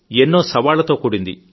ఎంతో సవాళ్లతో కూడింది